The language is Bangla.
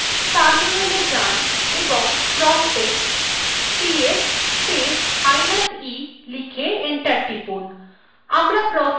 terminal এ যান এবং promptএ ps space minus e লিখে enter টিপুন